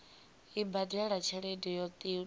i badele tshelede yo tiwaho